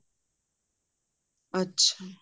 ਅੱਛਾ